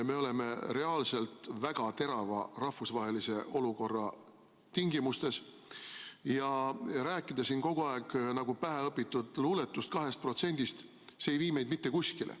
Me oleme reaalselt väga terava rahvusvahelise olukorra tingimustes ja rääkida siin kogu aeg nagu päheõpitud luuletust 2%-st ei vii meid mitte kuskile.